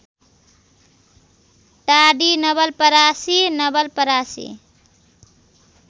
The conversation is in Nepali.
टाडी नवलपरासी नवलपरासी